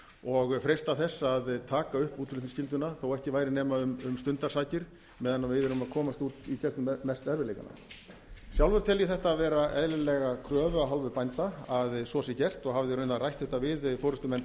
og freista þess að taka upp útflutningsskylduna þó ekki væri nema um stundarsakir meðan við erum að komast i gegnum mestu erfiðleikana sjálfur tel ég þetta vera eðlilega kröfu af hálfu bænda að svo sé gert og hafði raunar rætt þetta við forustumenn